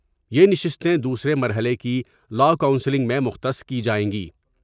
یہ نششتے دوسرے مرحلے کی لاءکونسلنگ میں مختص کی جائیں گی ۔